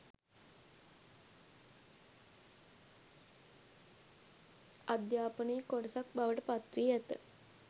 අධ්‍යාපනයේ කොටසක් බවට පත්වී ඇත.